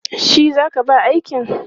Shi za ka ba aikin?